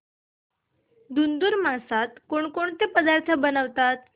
धुंधुर मासात कोणकोणते पदार्थ बनवतात